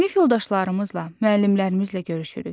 Sinif yoldaşlarımızla, müəllimlərimizlə görüşürük.